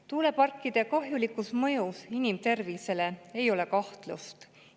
Tuuleparkide kahjulikus mõjus inimtervisele ei ole kahtlust.